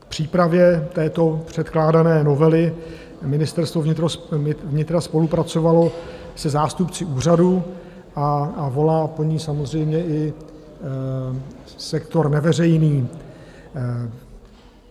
Na přípravě této předkládané novely Ministerstvo vnitra spolupracovalo se zástupci úřadu a volá po ní samozřejmě i sektor neveřejný.